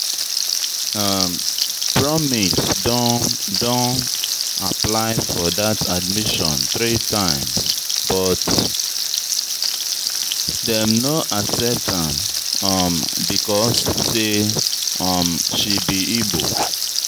Promise don don apply for that admission three times but dem no accept am um because say um she be Igbo